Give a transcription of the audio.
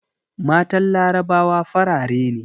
Matan larabawa farare ne